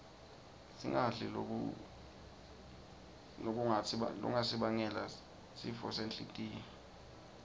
singadli lokutnsi bangela sifosenhltiyo